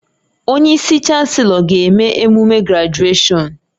Onye isi Chanselọ ga-eme emume grajueshọn